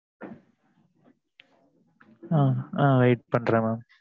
ஆ wait பண்ணுறன் mam